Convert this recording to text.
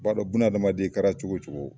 Ba dɔn bunadamaden i kɛra cogo cogo.